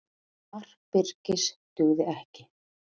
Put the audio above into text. Mark Birkis dugði ekki